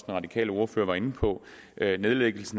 radikale ordfører var inde på nedlægges